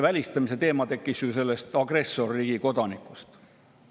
Välistamise teema tekkis ju agressorriigi kodanike tõttu.